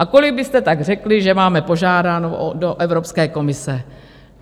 A kolik byste tak řekli, že máme požádáno do Evropské komise?